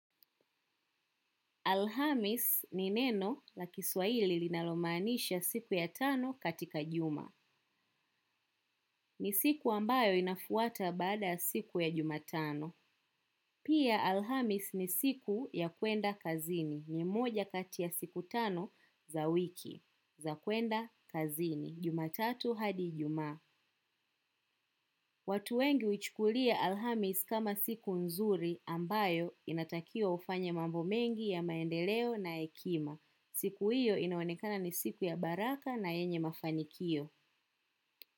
Alhamis ni neno la kiswaili linalomanisha siku ya tano katika juma. Ni siku ambayo inafuata bada siku ya jumatano. Pia alhamis ni siku ya kwenda kazini ni moja katia siku tano za wiki za kwenda kazini. Juma tatu hadi juma. Watu wengi uchukulia alhamis kama siku nzuri ambayo inatakiwa ufanya mambo mengi ya maendeleo na ekima. Siku hiyo inaonekana ni siku ya baraka na enye mafanikio.